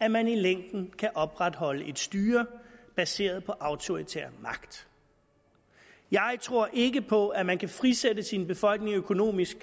at man i længden kan opretholde et styre baseret på autoritær magt jeg tror ikke på at man kan frisætte sin befolkning økonomisk